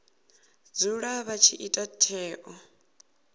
dzula vha tshi ita tsheo